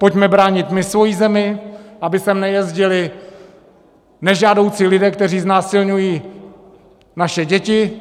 Pojďme bránit my svoji zemi, aby sem nejezdili nežádoucí lidé, kteří znásilňují naše děti.